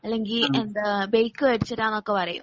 അല്ലങ്കിൽ ബൈക്ക് മേടിച്ചു തരാന്നൊക്കെ പറയും